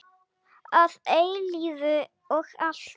Að eilífu og alltaf.